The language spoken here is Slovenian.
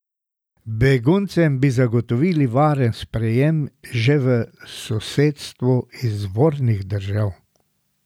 Beguncem bi zagotovili varen sprejem že v sosedstvu izvornih držav.